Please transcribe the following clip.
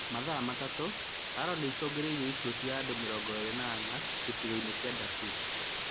Mathaa matatũ, Haro nĩicũngĩrĩirie ikuũ cia andũ mĩrongo ĩrĩ na ana, gĩcigo-inĩ kia Daefur